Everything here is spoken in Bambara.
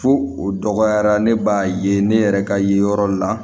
Fo o dɔgɔyara ne b'a ye ne yɛrɛ ka ye yɔrɔ la